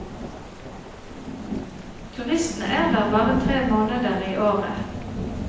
Turistene er der bare tre måneder i året.